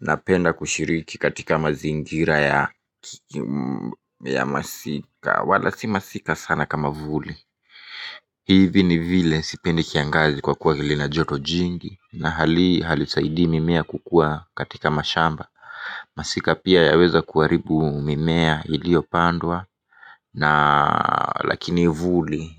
Napenda kushiriki katika mazingira ya masika wala si masika sana kama vuli. Hivi ni vile sipendi kiangazi kwa kuwa vile ina joto jingi na hali hii halisaidii mimea kukua katika mashamba. Masika pia yaweza kuharibu mimea iliopandwa na lakini vuli